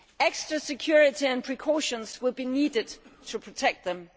Extra security and precautions will be needed to protect them.